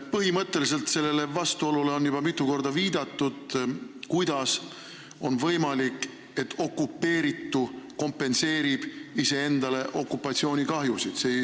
Põhimõtteliselt on juba mitu korda viidatud sellele vastuolule, kuidas on võimalik, et okupeeritu kompenseerib iseendale okupatsioonikahjusid.